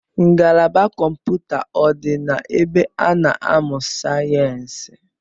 Ngalaba kọmpụta ọ dị na ebe a na-amụ sayensi?